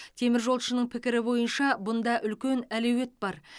теміржолшының пікірі бойынша бұнда үлкен әлеует бар